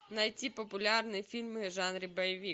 найти популярные фильмы в жанре боевик